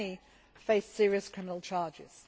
Many face serious criminal charges.